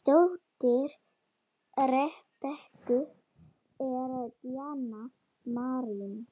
Dóttir Rebekku er Díana Marín.